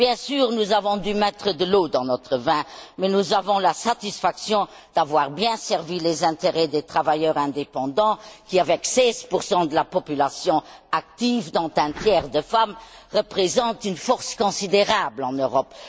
Bien sûr, nous avons dû mettre de l'eau dans notre vin, mais nous avons la satisfaction d'avoir bien servi les intérêts des travailleurs indépendants qui, avec 16 de la population active dont un tiers de femmes, représentent une force considérable en Europe.